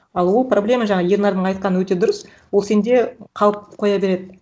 ал ол проблема жаңа ернардың айтқаны өте дұрыс ол сенде қалып қоя береді